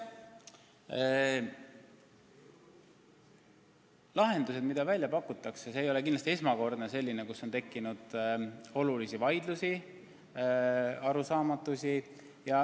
Mis puutub pakutavatesse lahendustesse, siis see ei ole kindlasti esmakordne olukord, kus on tekkinud suuri vaidlusi ja arusaamatusi.